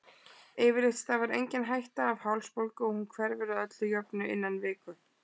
Yfirleitt stafar engin hætta af hálsbólgu og hún hverfur að öllu jöfnu innan viku.